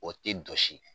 O tɛ jɔsi